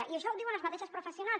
i això ho diuen les mateixes professionals